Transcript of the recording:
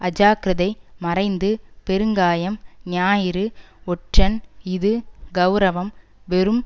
அஜாக்கிரதை மறைந்து பெருங்காயம் ஞாயிறு ஒற்றன் இஃது கெளரவம் வெறும்